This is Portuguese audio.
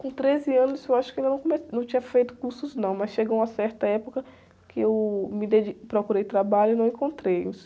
Com treze anos eu acho que eu não come, não tinha feito cursos, não, mas chegou uma certa época que eu me dedi, procurei trabalho e não encontrei.